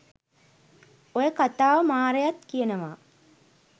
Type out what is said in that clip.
ඔය කතාව මාරයත් කියනවා.